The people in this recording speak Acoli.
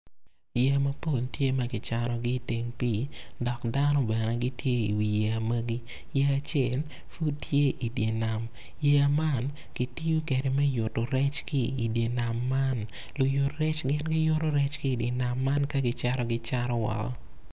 Yeya mapol tye kicanogi iteng pii dok dano bene gitye i wi yeya magi yeya acel ma tye i dye nam yeya man ki tiyo kwede me yuto rec ki i dye nam man luyut rec gin giyuto rec ka gicato woko.